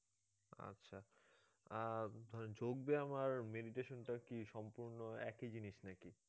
আহ ধরেন যোগ ব্যাম আর meditation টা কি সম্পূর্ণ একই জিনিস না কি?